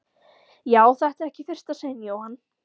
Já, þetta er ekki í fyrsta sinn Jóhann.